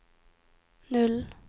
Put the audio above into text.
null